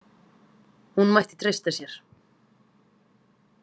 Hún mætti treysta sér.